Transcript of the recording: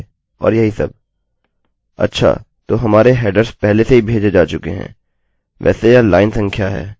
अच्छा तो हमारे हेडर्स headers पहले से ही भेजे जा चुके हैं वैसे यह लाइन संख्या है